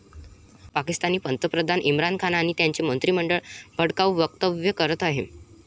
पाकिस्तानी पंतप्रधान इम्रान खान आणि त्यांचे मंत्रिमंडळ भडकाऊ वक्तव्य करत आहेत.